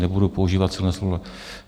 Nebudu používat silná slova.